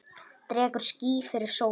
Dregur ský fyrir sólu!